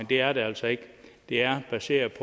det er der altså ikke det er baseret